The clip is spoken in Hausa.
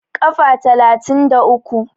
Kafa talatin da uku